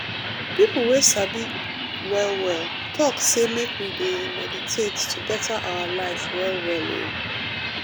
people wey sabi well well talk say make we dey meditate to better our life well well oo.